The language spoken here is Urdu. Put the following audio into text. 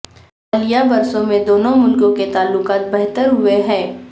حالیہ برسوں میں دونوں ملکوں کے تعلقات بہتر ہوئے ہیں